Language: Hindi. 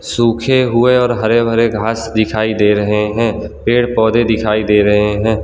सूखे हुए और हरे भरे घास दिखाई दे रहे हैं पेड़ पौधे दिखाई दे रहे हैं।